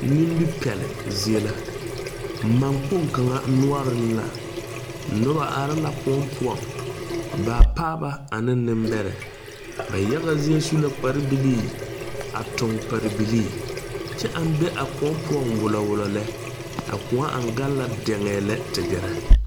Nimi pɛle zie la. Man kpong kanga nuore la. Noba are la koɔ poʊŋ. Baapaaba ane nebɛrɛ. Ba yaga zie su la kpare bilii, a toŋ pare bilii. Kyɛ aŋ be a koɔ poʊŋ wulɔwulɔ lɛ. A koɔ aŋ gaŋ la diŋɛ lɛ te gɛrɛ.